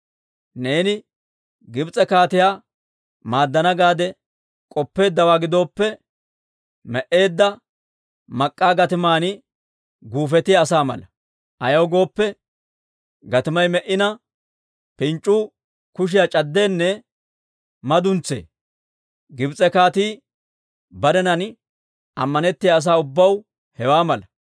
Neeni Gibs'e kaatiyaa maaddana gaade k'oppeeddawaa gidooppe, me"eedda mak'k'aa gatiman guufetiyaa asaa mala. Ayaw gooppe, gatimay me"ina, pinc'c'uu kushiyaa c'addeenne maduns's'isee. Gibs'e Kaatii barenan ammanettiyaa asaa ubbaw hewaa mala.